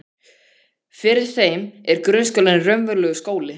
Fyrir þeim er grunnskólinn raunverulegur skóli.